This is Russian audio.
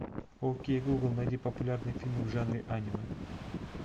окей гугл найди популярные фильмы в жанре аниме